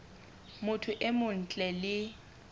motho e mong ntle le